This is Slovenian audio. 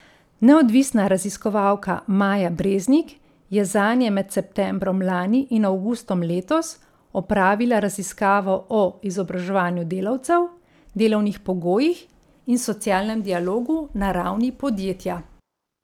Neodvisna raziskovalka Maja Breznik je zanje med septembrom lani in avgustom letos opravila raziskavo o izobraževanju delavcev, delovnih pogojih in socialnem dialogu na ravni podjetja.